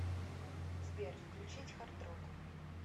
сбер включить хард рок